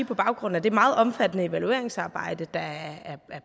på baggrund af det meget omfattende evalueringsarbejde der er